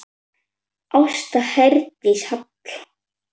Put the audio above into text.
Ásta Herdís Hall.